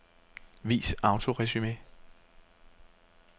Vis autoresumé.